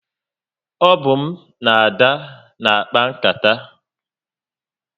O bu m na Ada na akpa nkata